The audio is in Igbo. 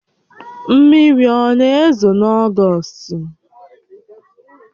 Mmiri ọ na-ezo n'ogost?